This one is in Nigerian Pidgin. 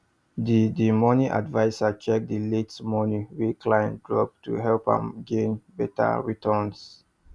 the the money adviser check the late money wey client drop to help am gain better returns